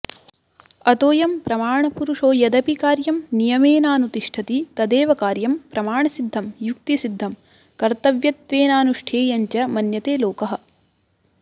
अतोऽयं प्रमाणपुरुषो यदपि कार्य नियमेनाऽनुतिष्ठति तदेव कार्य प्रमाणसिद्धं युक्तिसिद्धं कर्तव्यत्वेनाऽनुष्ठेयञ्च मन्यते लोकः